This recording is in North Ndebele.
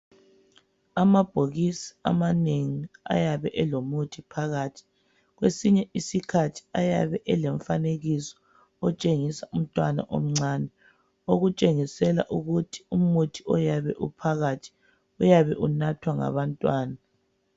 Amabhokisi amanengi ayabe elomuthi phakathi. Kwesinye isikhathi ayabe elomfanekiso otshengisa umntwana omncane, okutshengisela ukuthi umuthi oyabe uphakathi uyabe unathwa ngabantwana.